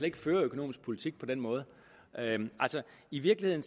ikke føre økonomisk politik på den måde i virkeligheden